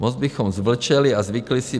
Moc bychom zvlčeli a zvykli si.